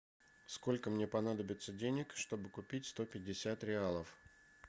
сколько мне понадобится денег чтобы купить сто пятьдесят реалов